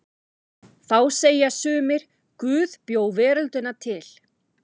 Þá segja sumir: Guð bjó veröldina til.